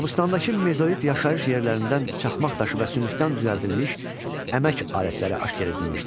Qobustandakı mezolit yaşayış yerlərindən çaxmaq daşı və sümükdən düzəldilmiş əmək alətləri aşkar edilmişdir.